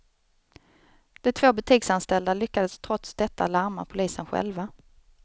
De två butiksanställda lyckades trots detta larma polisen själva.